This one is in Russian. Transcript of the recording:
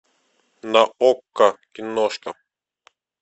на окко киношка